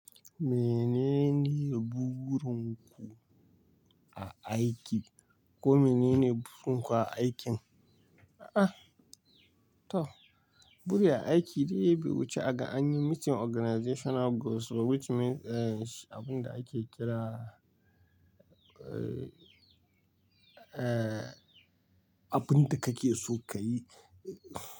Menene bugurun ku a aiki ko menene burin ku a aikin? Ah, to, buri a aiki, dai bai wuce aga anyi meeting organizational goals which means, eh, abin da ake kira, eh, abin da kake so ka yi.